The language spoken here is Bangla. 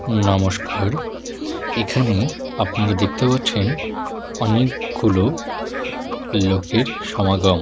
নমস্কার এখানে আপনারা দেখতে পাচ্ছেন অনেকগুলো লোকের সমাগম।